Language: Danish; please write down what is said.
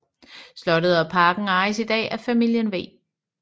Slottet og parken ejes i dag af familien v